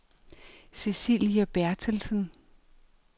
Cecilie Bertelsen